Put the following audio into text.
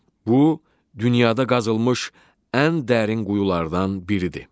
Bu dünyada qazılmış ən dərin quyulardan biridir.